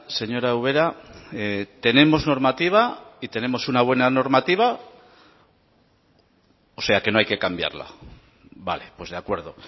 señora ubera tenemos normativa y tenemos una buena normativa o sea que no hay que cambiarla vale pues de acuerdo